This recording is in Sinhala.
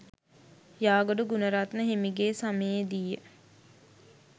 යාගොඩ ගුණරත්න හිමිගේ සමයේදීය.